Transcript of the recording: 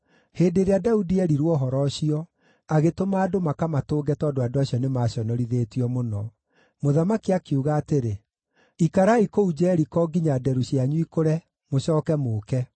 Hĩndĩ ĩrĩa Daudi eerirwo ũhoro ũcio, agĩtũma andũ makamatũnge tondũ andũ acio nĩmaconorithĩtio mũno. Mũthamaki akiuga atĩrĩ, “Ikarai kũu Jeriko nginya nderu cianyu ikũre, mũcooke mũũke.”